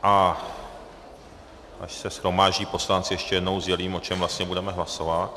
A až se shromáždí poslanci, ještě jednou sdělím, o čem vlastně budeme hlasovat.